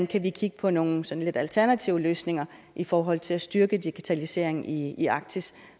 kan se på nogle sådan lidt alternative løsninger i forhold til at styrke digitaliseringen i i arktis